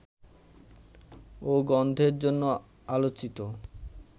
ও গন্ধের জন্য আলোচিত